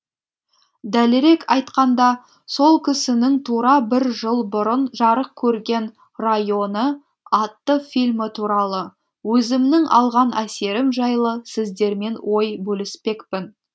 дәлірек айтқанда сол кісінің тура бір жыл бұрын жарық көрген районы атты фильмі туралы өзімнің алған әсерім жайлы сіздермен ой бөліспекпін